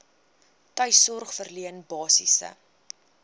tuissorg verleen basiese